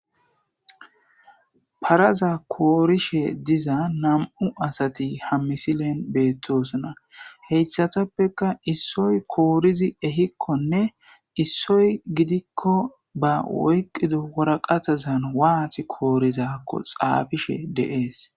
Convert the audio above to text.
Paraza korushe diza 2 asat ha misilen betosona, hesatapeka issoy koriz ehikonne issoy gidiko ba oykido waraqatazan wat korizakon xafishe de'es.